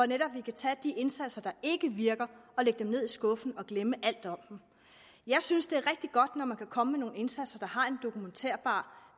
netop kan tage de indsatser der ikke virker og lægge dem ned i skuffen og glemme alt om dem jeg synes det er rigtig godt når man kan komme med nogle indsatser der har en dokumenterbar